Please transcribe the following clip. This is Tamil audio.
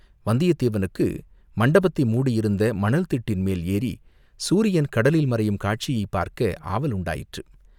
வந்தியத்தேவனுக்கு மண்டபத்தை மூடியிருந்த மணல்திட்டின் மேல் ஏறிச் சூரியன் கடலில் மறையும் காட்சியைப் பார்க்க ஆவல் உண்டாயிற்று.